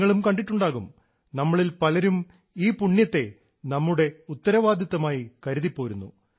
നിങ്ങളും കണ്ടിട്ടുണ്ടാകും നമ്മളിൽ പലരും ഈ പുണ്യത്തെ നമ്മുടെ ഉത്തരവാദിത്തമായി കരുതിപ്പോരുന്നു